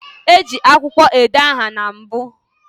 E ji akwukwo ede aha na mbu